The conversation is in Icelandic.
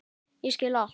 Ég skil allt!